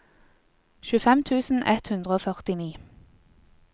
tjuefem tusen ett hundre og førtini